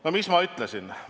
No mis ma ütlesin?